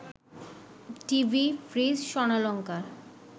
TV, fridge, স্বর্ণালঙ্কার